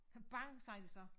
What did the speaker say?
Kabang sagde det så